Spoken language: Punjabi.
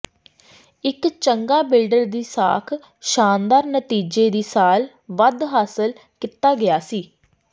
ਇੱਕ ਚੰਗਾ ਬਿਲਡਰ ਦੀ ਸਾਖ ਸ਼ਾਨਦਾਰ ਨਤੀਜੇ ਦੀ ਸਾਲ ਵੱਧ ਹਾਸਲ ਕੀਤਾ ਗਿਆ ਸੀ